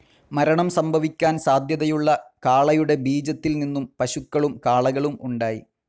മരണം സംഭവിക്കാൻ സാധ്യതയുള്ള കാളയുടെ ബീജത്തിൽ നിന്നും പശുക്കളും കാളകളും ഉണ്ടായി.